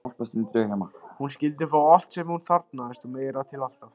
Hún skyldi fá allt sem hún þarfnaðist og meira til, alltaf.